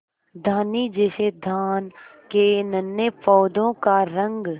धानी जैसे धान के नन्हे पौधों का रंग